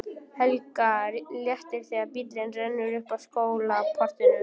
Helga léttir þegar bíllinn rennur upp að skólaportinu.